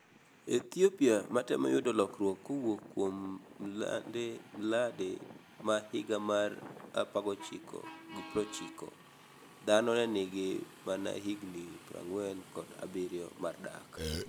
Ethiopia matemo yudo lokruok kowuok kuom mlade ma higa mar 1990, dhano ne nigi mana higni 47 mar dak.